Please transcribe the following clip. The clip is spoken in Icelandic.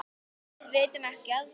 Við vitum ekki af því.